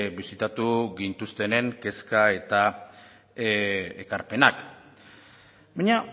bisitatu gintuztenen kezka eta ekarpenak baina